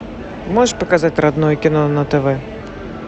можешь показать родное кино на тв